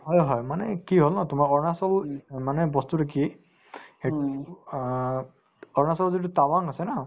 হয় হয় মানে কি হল আপোনাৰ অৰুণাচল মানে বস্তুতো কি সেইটো অ অৰুণাচলত যিটো টাৱাং আছে ন